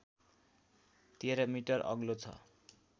१३ metre अग्लो छ